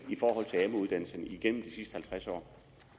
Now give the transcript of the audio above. der igennem de sidste halvtreds år